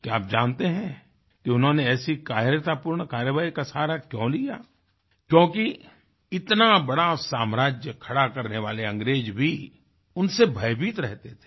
क्या आप जानते हैं कि उन्होंने ऐसी कायरतापूर्ण कार्यवाही का सहारा क्यों लिया क्योंकि इतना बड़ा साम्राज्य खड़ा करने वाले अंग्रेज भी उनसे भयभीत रहते थे